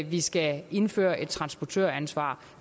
vi skal indføre et transportøransvar